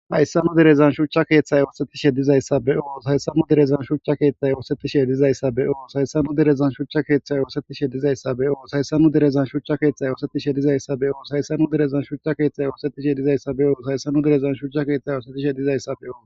hayssanu derezan shucha keeththay oosetishe dizayssabe o sayssanu derezan shuchcha keeththay oosetishe dizayssabe oo saysanu derezan shuchcha keeththay oosetishe dizayssa be oo saysanu derezan shuchcha keeththay oosetishe dizayssa be oo saysanu derezan shuchcha keeththay oosetishe dizayssa be oo saysanu derezan shuchcha keeththay oosetishe dizayssabeo